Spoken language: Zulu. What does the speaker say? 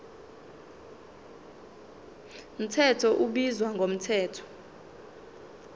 mthetho ubizwa ngomthetho